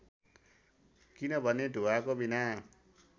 किनभने धुवाँको बिना